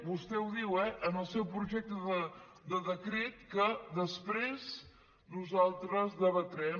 vostè ho diu eh en el seu projecte de decret que després nosaltres debatrem